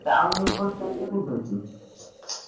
Town ଉପରେ ଜାଗା କୋଉଠି ଅଛି।